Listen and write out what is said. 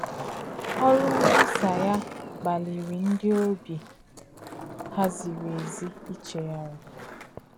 Ọ̀rụ̀ nkwùsà yà kpàlìrì ńdí òbí hà zìrì èzì ìchèghàrí.